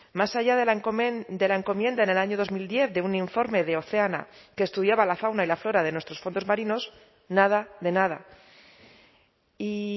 más allá de la encomienda en el año dos mil diez de un informe de oceana que estudiaba la fauna y la flora de nuestros fondos marinos nada de nada y